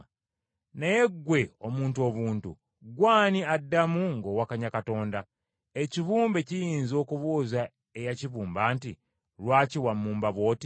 Naye ggwe omuntu obuntu, ggwe ani addamu ng’owakanya Katonda? Ekibumbe kiyinza okubuuza eyakibumba nti, “Lwaki wammumba bw’oti?”